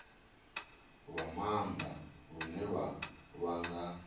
lwa maanda lune lwa nga